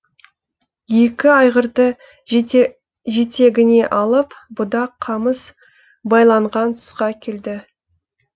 екі айғырды жетегіне алып будақ қамыс байланған тұсқа келді